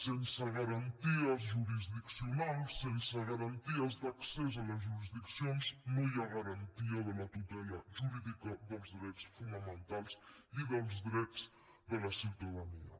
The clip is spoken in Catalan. sense garanties jurisdiccionals sense garanties d’accés a les jurisdiccions no hi ha garantia de la tutela jurídica dels drets fonamentals i dels drets de la ciutadania